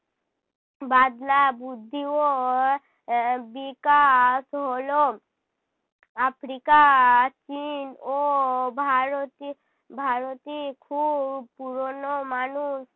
বাদলা বুদ্ধি ও বিকাশ হলো। আফ্রিকা চীন ও ভারতে, ভারতে খুব পুরোনো মানুষ